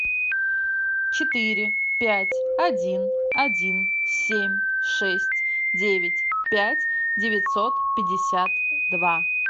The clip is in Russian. четыре пять один один семь шесть девять пять девятьсот пятьдесят два